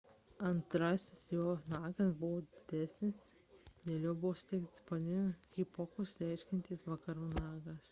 antrasis jo nagas buvo didesnis dėl jo buvo suteiktas pavadinimas hesperonychus reiškiantis vakarų nagas